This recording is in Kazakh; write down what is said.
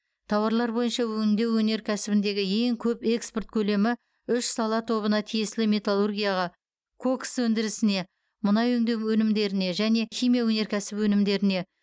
тауарлар бойынша өңдеу өнеркәсібіндегі ең көп экспорт көлемі үш сала тобына тиесілі металлургияға кокос өндірісіне мұнай өңдеу өнімдеріне және химия өнеркәсібі өнімдеріне